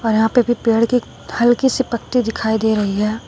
और यहां पे अभी पेड़ के हल्के से पत्ते दिखाई दे रही है।